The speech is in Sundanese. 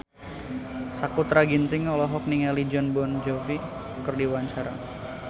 Sakutra Ginting olohok ningali Jon Bon Jovi keur diwawancara